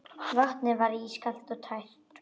Vatnið var ískalt og tært.